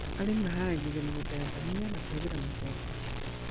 Arĩmi maharagĩrĩria mĩgũnda ya ndania na kũhũthĩra macembe